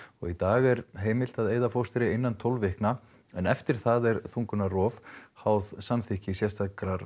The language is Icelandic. í dag er heimilt að eyða fóstri innan tólf vikna en eftir það er þungunarrof háð samþykki sérstakrar